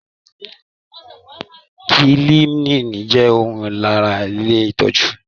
Kiliniiki jẹ ọkan lára ilé itọju.